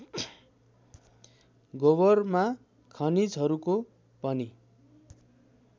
गोबरमा खनिजहरूको पनि